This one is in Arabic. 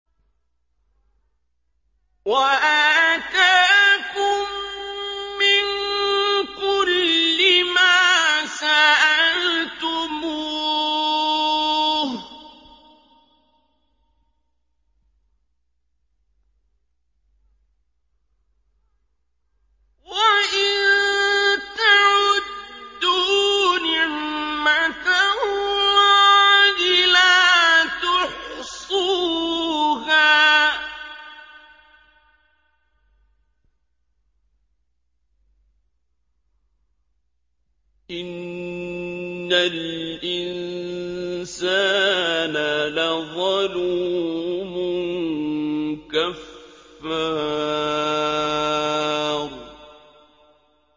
وَآتَاكُم مِّن كُلِّ مَا سَأَلْتُمُوهُ ۚ وَإِن تَعُدُّوا نِعْمَتَ اللَّهِ لَا تُحْصُوهَا ۗ إِنَّ الْإِنسَانَ لَظَلُومٌ كَفَّارٌ